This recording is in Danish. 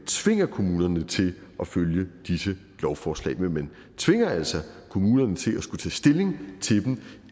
tvinge kommunerne til at følge disse lovforslag men man tvinger altså kommunerne til at skulle tage stilling til dem